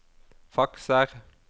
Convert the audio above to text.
fakser